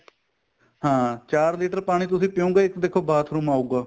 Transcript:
ਹਾਂ ਚਾਰ litter ਪਾਣੀ ਤੁਸੀਂ ਪਿਉਗੇ ਇੱਕ ਦੇਖੋ bathroom ਆਉਗਾ